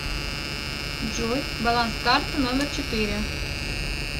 джой баланс карты номер четыре